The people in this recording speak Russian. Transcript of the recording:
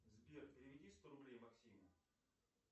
сбер переведи сто рублей максиму